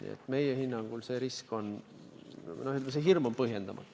Nii et meie hinnangul see risk, see hirm on põhjendamatu.